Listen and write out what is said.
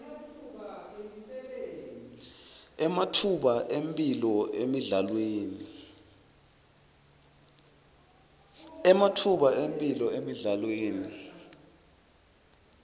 ematfuba emphilo emidlalweni